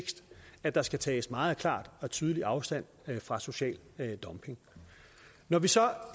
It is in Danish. at der skal tages meget klart og tydeligt afstand fra social dumping når vi så